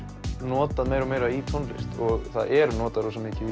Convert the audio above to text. notað meira og meira í tónlist og það er notað rosa mikið í